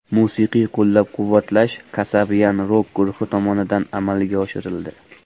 Musiqiy qo‘llab-quvvatlash Kasabian rok-guruhi tomonidan amalga oshirildi.